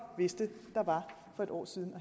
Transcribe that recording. vidste der var for et år siden og